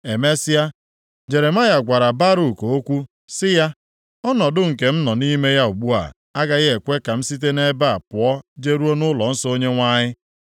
Emesịa, Jeremaya gwara Baruk okwu sị ya, “Ọnọdụ nke m nọ nʼime ya ugbu a agaghị ekwe ka m site nʼebe a pụọ jeruo nʼụlọnsọ Onyenwe anyị.